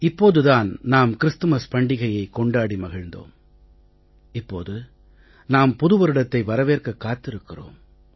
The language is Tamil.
இப்போதுதான் நாம் கிறிஸ்துமஸ் பண்டிகையைக் கொண்டாடி மகிழ்ந்தோம் இப்போது நாம் புது வருடத்தை வரவேற்க காத்திருக்கிறோம்